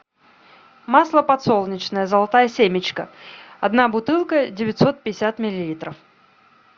масло подсолнечное золотая семечка одна бутылка девятьсот пятьдесят миллилитров